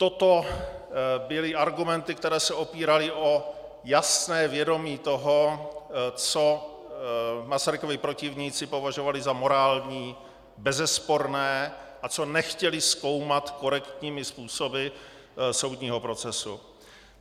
Toto byly argumenty, které se opíraly o jasné vědomí toho, co Masarykovi protivníci považovali za morální, bezesporné a co nechtěli zkoumat korektními způsoby soudního procesy.